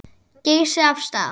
Geysi af stað.